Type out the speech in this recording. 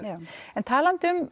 já talandi um